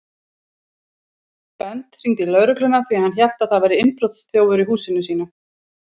Bent hringdi í lögregluna því hann hélt að það væri innbrotsþjófur í húsinu sínu.